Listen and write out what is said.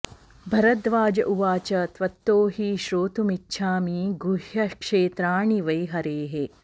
भरद्वाज उवाच त्वत्तो हि श्रोतुमिच्छामि गुह्यक्षेत्राणि वै हरेः